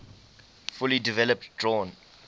fully developed drawn